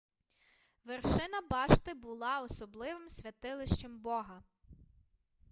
вершина башти була особливим святилищем бога